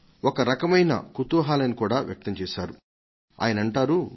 ఒక రకమైన కుతూహలాన్ని కూడా వ్యక్తం చేశారు ఆయనంటారు